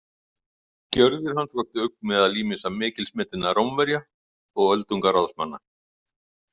Gjörðir hans vöktu ugg meðal ýmissa mikilsmetinna Rómverja og öldungaráðsmanna.